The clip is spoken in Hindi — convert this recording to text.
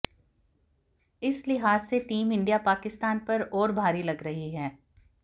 इस लिहाज से टीम इंडिया पाकिस्तान पर और भारी लग रही है